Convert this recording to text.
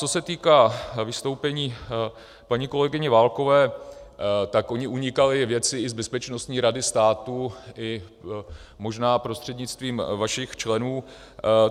Co se týká vystoupení paní kolegyně Válkové, tak ony unikaly věci i z Bezpečnostní rady státu i možná prostřednictvím vašich členů.